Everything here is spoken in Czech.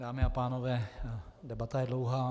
Dámy a pánové, debata je dlouhá.